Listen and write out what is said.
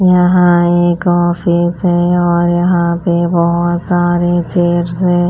यहां एक ऑफिस है और यहां पर बहोत सारे चेयर्स हैं।